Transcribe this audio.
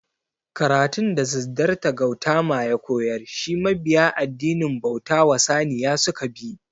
Karatun da Siddarta Gautama ya koyar shi mabiya addinin bauta wa Saniya suka bi